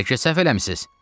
Bəlkə səhv eləmisiniz?